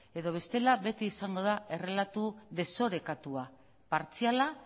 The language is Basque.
edo bestela beti izango da errelatu desorekatua partziala